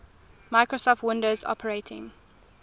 microsoft windows operating